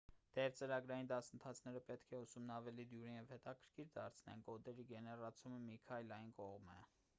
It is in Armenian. թեև ծրագրային դասընթացները պետք է ուսումն ավելի դյուրին և հետաքրքիր դարձնեն կոդերի գեներացումը մի քայլ այն կողմ է